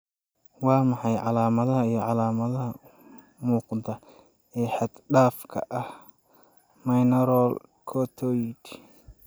Waa maxay calaamadaha iyo calaamadaha muuqda ee xad-dhaafka ah mineralocorticoid?